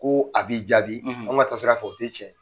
Ko a b'i jaabi an kɔni ka sira fƐ u tɛ cɛn ye